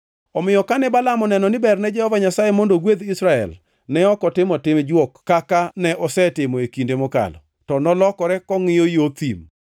Omiyo kane Balaam oneno ni berne Jehova Nyasaye mondo ogwedh Israel, ne ok otimo tim jwok kaka ne osetimo e kinde mokalo, to nolokore kongʼiyo yo thim.